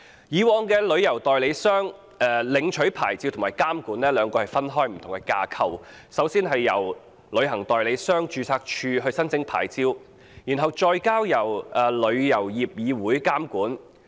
以往，旅行代理商在兩個不同架構下領取牌照及接受監管，首先向旅行代理商註冊處申請牌照，然後再接受香港旅遊業議會監管。